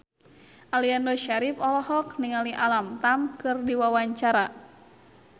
Aliando Syarif olohok ningali Alam Tam keur diwawancara